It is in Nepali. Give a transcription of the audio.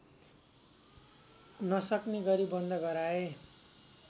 नसक्ने गरी बन्द गराए